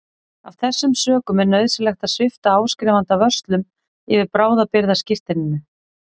Af þessum sökum er nauðsynlegt að svipta áskrifanda vörslum yfir bráðabirgðaskírteininu.